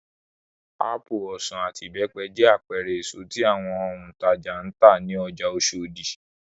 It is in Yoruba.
Ápù, ọsàn, àti ìbẹ́pẹ jẹ́ àpẹẹrẹ èso tí àwọn òǹtajà ń tà ní ọjà Oṣòdì.